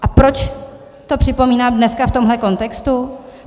A proč to připomínám dneska v tomhle kontextu?